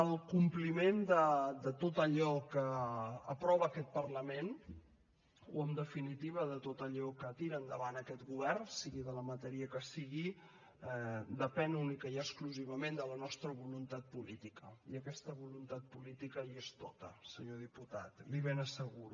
el compliment de tot allò que aprova aquest parlament o en definitiva de tot allò que tira endavant aquest govern sigui de la matèria que sigui depèn únicament i exclusivament de la nostra voluntat política i aquesta voluntat política hi és tota senyor diputat li ho ben asseguro